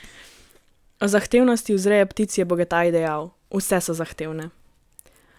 O zahtevnosti vzreje ptic je Bogataj dejal: "Vse so zahtevne.